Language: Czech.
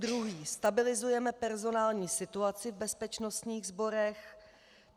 Druhý: stabilizujeme personální situaci v bezpečnostních sborech.